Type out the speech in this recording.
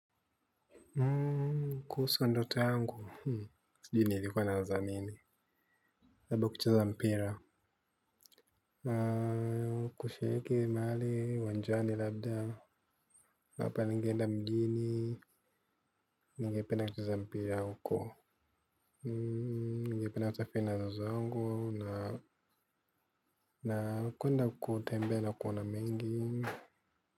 Kuhusu ndoto yangu. Sijui nilikuwa nawaza nini? Saba kucheza mpira. Kushiriki mahali uwanjani labda. Ama pia ningeenda mjini. Ningependa kucheza mpira huko. Ningependa kusafiri na wazazi wangu na kuenda kutembea na kuona mengi. Mmh.